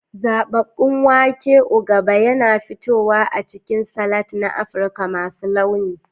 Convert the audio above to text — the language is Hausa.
Zababun wake, ugaba, yana fitowa a cikin salads na Afirka masu launi.